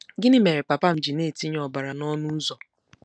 Gịnị mere papa m ji na-etinye ọbara n'ọnụ ụzọ? '